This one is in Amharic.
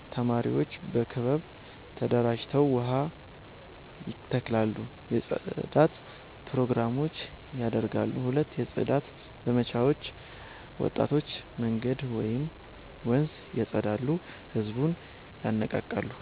ተማሪዎች በክበብ ተደራጅተው ዛፍ ይተክላሉ የጽዳት ፕሮግራሞች ያደርጋሉ 2 የጽዳት ዘመቻዎች ወጣቶች መንገድ ወይም ወንዝ ያፀዳሉ ህዝብን ይነቃቃሉ